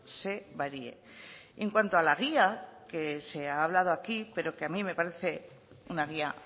se varíe en cuanto a la guía que se ha hablado aquí pero que a mí me parece una guía